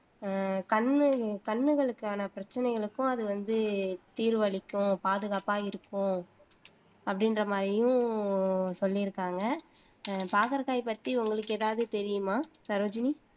அஹ் கண்ணு கண்ணுகளுக்கான பிரச்சனைகளுக்கும் அது வந்து தீர்வளிக்கும் பாதுகாப்பா இருக்கும். அப்படின்ற மாதிரியும் சொல்லிருக்காங்க அஹ் பாகற்காய் பத்தி உங்களுக்கு ஏதாவது தெரியுமா சரோஜினி